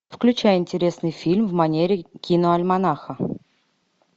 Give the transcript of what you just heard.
включай интересный фильм в манере киноальманаха